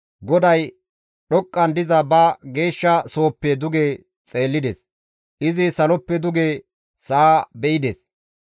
GODAY dhoqqan diza ba geeshsha sohoppe duge xeellides; izi saloppe duge sa7a be7ides.